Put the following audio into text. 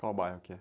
Qual bairro que é?